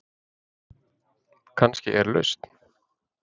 Kannski er lausn